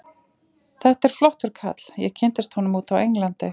Þetta er flottur kall, ég kynntist honum úti á Englandi.